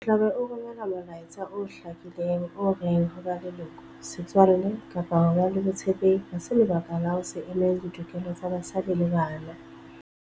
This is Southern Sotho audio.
O tla be o romela molaetsa o hlakileng o reng ho ba leloko, setswalle kapa ho ba le botshepehi ha se lebaka la ho se emele ditokelo tsa basadi le bana.